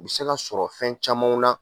U bi se ka sɔrɔ fɛn camanw na